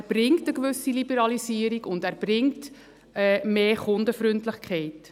Er bringt eine gewisse Liberalisierung, und er bringt mehr Kundenfreundlichkeit.